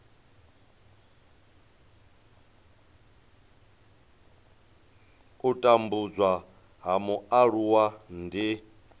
u tambudzwa ha mualuwa ndi